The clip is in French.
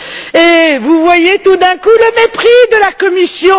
Et vous voyez tout d'un coup le mépris de la Commission.